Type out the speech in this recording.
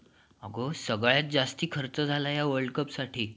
आग सगळ्यात जास्त खर्च झालाय या वर्ल्डकपसाठी